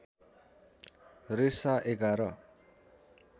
रेसा ११